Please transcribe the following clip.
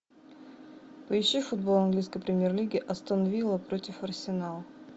поищи футбол английской премьер лиги астон вилла против арсенал